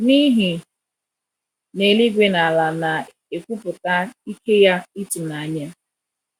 n’ihi na Eluigwe na Ala na-ekwupụta ike ya ịtụnanya